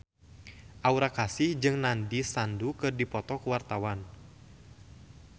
Aura Kasih jeung Nandish Sandhu keur dipoto ku wartawan